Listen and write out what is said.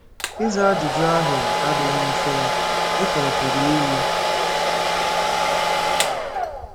Ịza ajụjụ ahụ adịghị mfe dị ka ọ pụrụ iyi.